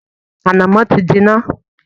Ànàmọ́ ti ń jiná